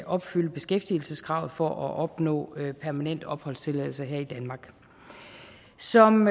opfylde beskæftigelseskravet for at opnå permanent opholdstilladelse her i danmark som